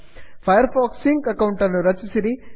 fire fox sync ಅಕೌಂಟನ್ನು ರಚಿಸಿರಿ